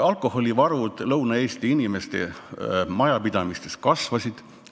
Alkoholivarud Lõuna-Eesti inimeste majapidamistes kasvasid.